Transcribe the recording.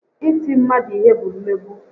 Iti mmadu ihe bụ mmegbu